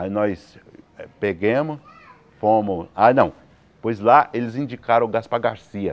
Aí nós pegamos, fomos... Ah não, pois lá eles indicaram o Gaspar Garcia.